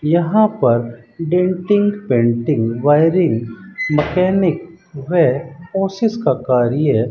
यहां पर denting painting wiring mechanic व ऑफिस का कार्य --